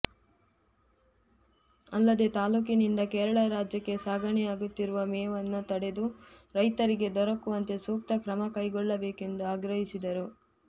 ಅಲ್ಲದೆ ತಾಲೂಕಿನಿಂದ ಕೇರಳ ರಾಜ್ಯಕ್ಕೆ ಸಾಗಣೆಯಾಗುತ್ತಿರುವ ಮೇವನ್ನು ತಡೆದು ರೈತರಿಗೆ ದೊರಕುವಂತೆ ಸೂಕ್ತ ಕ್ರಮ ಕೈಗೊಳ್ಳಬೇಕು ಎಂದು ಆಗ್ರಹಿಸಿದರು